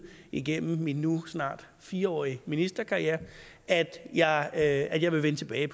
igennem min nu snart fire årige ministerkarriere at jeg at jeg vil vende tilbage